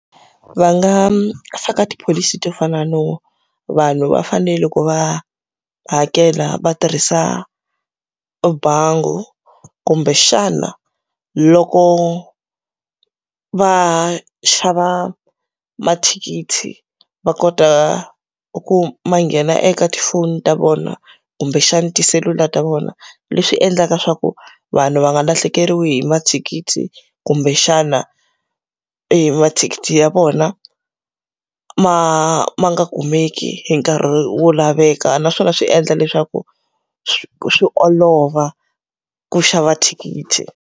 Va nga faka tipholisi to fana no vanhu va fanele loko va hakela va tirhisa bangi, ku kumbexana loko va xava mathikithi va kota ku ma nghena eka tifoni ta vona kumbexana tisesula ta vona. Leswi endlaka leswaku vanhu va nga lahlekeriwi hi mathikithi kumbexana emathikithi ya vona, ma ma nga kumeki hi nkarhi wo laveka. Naswona swi endla leswaku swi olova ku xava thikithi.